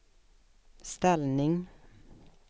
ställning